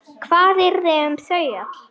Hvað yrði um þau öll?